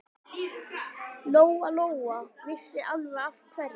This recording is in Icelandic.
Lóa-Lóa vissi alveg af hverju.